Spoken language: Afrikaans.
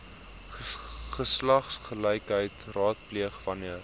geslagsgelykheid raadpleeg wanneer